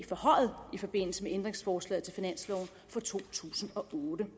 forhøjet i forbindelse med ændringsforslaget til finansloven for to tusind og otte